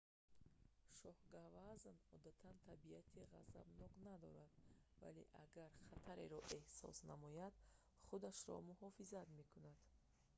шоҳгавазн ҳамчунин чун гавазн маъмул аст одатан табиати ғазабнок надорад вале агар хатареро эҳсос намояд худашро муҳофизат мекунад